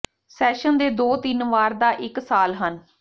session ਦੇ ਦੋ ਤਿੰਨ ਵਾਰ ਦਾ ਇੱਕ ਸਾਲ ਹਨ